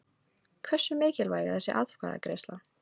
Hversu mikilvæg er þessi atkvæðagreiðsla?